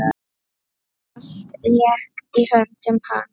Allt lék í höndum hans.